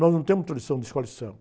Nós não temos tradição de Escola de Samba.